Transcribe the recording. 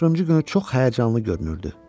Amma o günü çox həyəcanlı görünürdü.